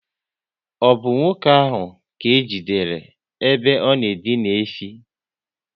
Ọ bụ nwoke ahụ ka ejidere ebe ọ na edina efi?